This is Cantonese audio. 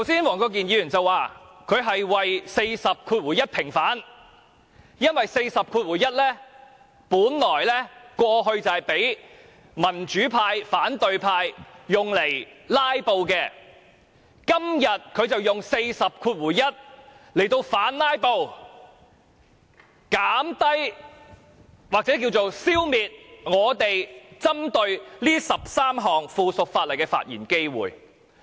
黃國健議員剛才說，他是為《議事規則》第401條平反，因為第401條過去本來是讓民主派及反對派用來"拉布"的，今天他便引用第401條來反"拉布"，減低或消滅我們針對這13項附屬法例的發言機會。